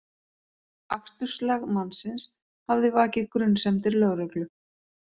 Aksturslag mannsins hafði vakið grunsemdir lögreglu